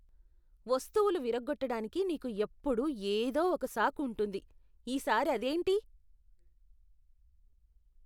వస్తువులు విరగ్గొట్టడానికి నీకు ఎప్పుడూ ఏదో ఒక సాకు ఉంటుంది. ఈ సారి అదేంటి?